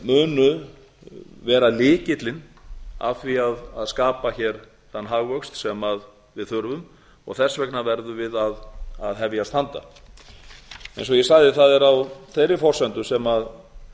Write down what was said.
munu vera lykillinn að því að skapa hér þann hagvöxt sem við þurfum þess vegna verðum við að hefjast handa eins og ég sagði það er á þeirri forsendu sem